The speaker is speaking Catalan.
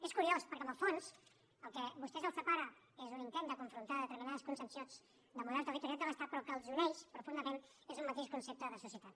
és curiós perquè en el fons el que a vostès els separa és un intent de confrontar determinades concepcions del model territorial de l’estat però el que els uneix profundament és un mateix concepte de societat